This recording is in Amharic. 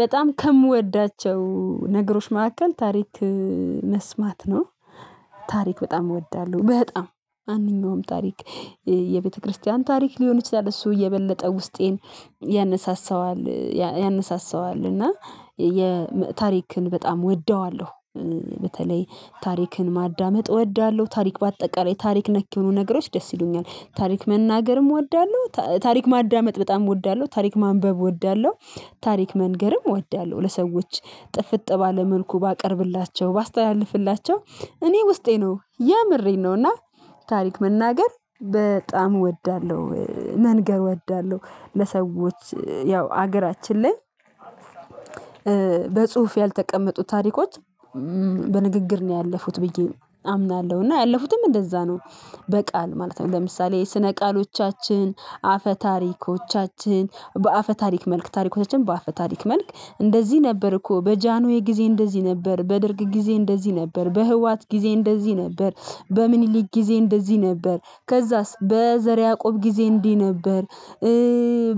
በጣም ከምወዳቸው ነገሮች መካከል ታሪክ መስማት ነው። ታሪክ በጣም እወዳለሁ በጣም ማንኛውም ታሪክ የቤተክርስቲያን ታሪክ ሊሆን ይችላል እሱ የበለጠ ውስጤን ያነሳሳዋል ያነሳሳዋል እና ታሪክን በጣም ወደዋለሁ። በተለይ ታሪክን ማዳመጥ እወዳለሁ ታሪክ በአጠቃላይ ታሪክ ነክ የሆኑ ነገሮች ደስ ይሉኛል ታሪክ መናገርም እወዳለሁ ታሪክ ማዳመጥ በጣም እወዳለሁ ታሪክ ማንበብ እወዳለሁ። ታሪክ መንገርም እወዳለሁ ለሰዎች ጥፍጥ ባለ መልኩ ባቀርብላቸው ባስተላልፍላቸው እኔ ውስጤ ነው የምሬን ነው። እና ታሪክ መናገር በጣም እወዳለሁ መንገር እወዳለሁ ለሰዎች ያው ሀገራችን ላይ በጽሁፍ ያልተቀመጡ ታሪኮች በንግግር ነው ያለፉት ብዬ አምናለሁ እና ያለፉትም እንደዛ ነው በቃል ማለት ነው። ለምሳሌ የስነ ቃሎቻችን አፈ ታሪኮቻችን በአፈ ታሪክ መልክ ታሪኮቻችን በአፈ ታሪክ መልክ እንደዚህ ነበር እኮ በጃንሆይ ጊዜ እንደዚህ ነበር በደርግ ጊዜ እንደዚህ ነበር በህውሃት ጊዜ እንደዚህ ነበር። በሚኒሊክ ጊዜ እንደዚህ ነበር ከዛስ በዘር ያዕቆብ ጊዜ እንዲህ ነበር።